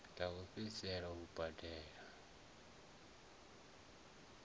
ḽa u fhedzisela u badela